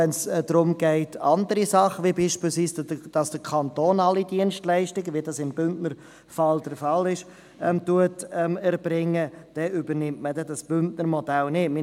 Wenn es darum geht, dass zum Beispiel der Kanton alle Dienstleistungen erbringt, wie dies im Bündner Modell der Fall ist, dann wird das Bündner Modell nicht übernommen.